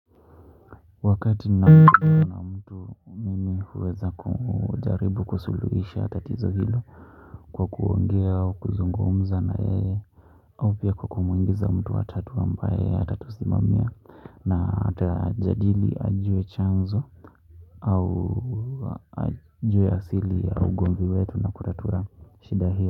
Wakati napopigiwa mtu na mtu mimi huweza kujaribu kusuluhisha tatizo hilo kwa kuongea au kuzungumza na yeye au pia kwa kumuingiza mtu wa tatu ambaye atatusimamia na atajadili ajue chanzo au ajue asili ya ugomvi wetu na kutatua shida hio.